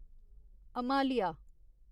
Himalaya